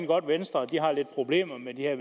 godt at venstre har lidt problemer med de her